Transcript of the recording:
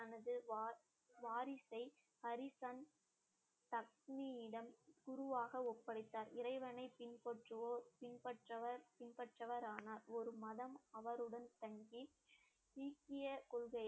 தனது வா~ வாரிசை ஹரிசன் தக்கினியிடம் குருவாக ஒப்படைத்தார் இறைவனை பின்பற்றுவோர் பின்பற்றவர் பின்பற்றவர் ஆனார் ஒரு மாதம் அவருடன் தங்கி சீக்கிய கொள்கையை